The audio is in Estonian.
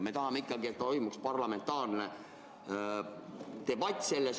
Me tahame ikkagi, et toimuks parlamentaarne debatt.